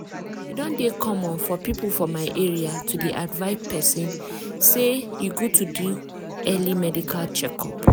e don dey common for people for my area to dey advise persin say e good to do early medical check-up.